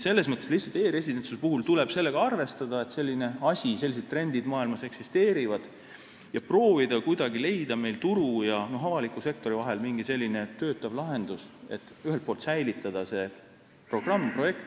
Selles mõttes lihtsalt e-residentsuse puhul tuleb sellega arvestada, et sellised trendid maailmas eksisteerivad, ja proovida kuidagi leida meil turu ja avaliku sektori vahel mingi selline toimiv lahendus, et säilitada see projekt.